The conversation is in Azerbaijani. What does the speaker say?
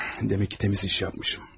Demək ki təmiz iş yapmışam.